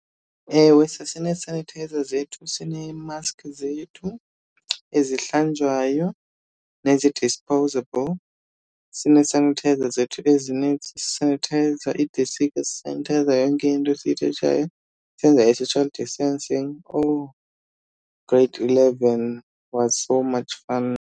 Ewe sasinee-sanitizer zethu, sineemaskhi zethu ezihlanjwayo nezi-disposable. Sinee-sanitizer zethu ezinintsi sisanithayiza iidesika, sisanithayiza yonke into esiyithatshayo, senza i-social distancing. Owu grade eleven was so much fun.